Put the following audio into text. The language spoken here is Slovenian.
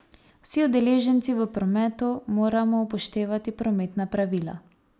Vsi udeleženci v prometu moramo upoštevati prometna pravila.